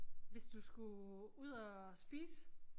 Hvis du skulle ud og spise